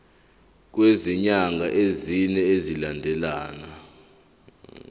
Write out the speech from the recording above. kwezinyanga ezine zilandelana